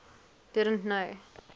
didn t know